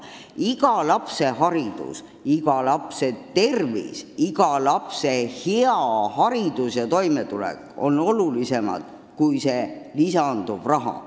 Iga lapse haridus, iga lapse tervis, iga lapse hea haridus ja toimetulek on olulisemad kui see lisanduv raha.